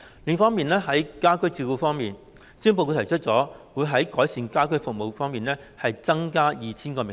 另外，在家居照顧方面，施政報告提出了會在改善家居服務方面增加 2,000 個名額。